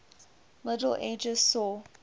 middle ages saw